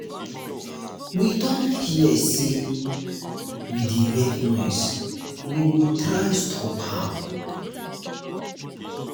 we don hear say we dey make noise we go try stop am.